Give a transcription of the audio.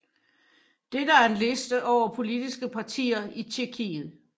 Dette er en liste over politiske partier i Tjekkiet